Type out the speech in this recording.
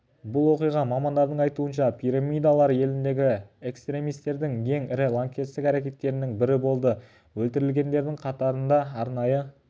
бұл оқиға мамандардың айтуынша пирамидалар еліндегі экстремистердің ең ірі лаңкестік әрекеттерінің бірі болды өлтірілгендердің қатарында арнайы